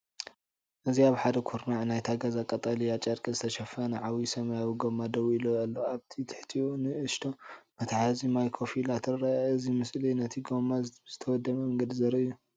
እዚ ኣብ ሓደ ኩርናዕ ናይቲ ገዛ ብቀጠልያ ጨርቂ ዝተሸፈነ ዓቢ ሰማያዊ ጎማ ደው ኢሉ ኣሎ። ኣብ ትሕቲኡ ንእሽቶ መትሓዚ ማይ ኮፍ ኢላ ትረአ። እዚ ምስሊ እዚ ነቲ ጎማ ብዝተወደበ መንገዲ ዘርኢ እዩ።